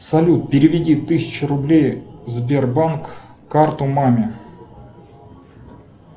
салют переведи тысячу рублей сбербанк карту маме